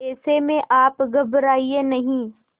ऐसे में आप घबराएं नहीं